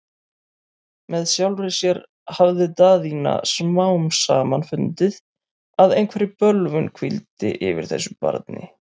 Með sjálfri sér hafði Daðína smám saman fundið, að einhver bölvun hvíldi yfir þessu barni.